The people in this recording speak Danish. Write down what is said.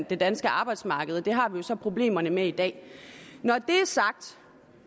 det danske arbejdsmarked og det har vi jo så problemer med i dag når det er sagt